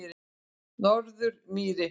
Norðurmýri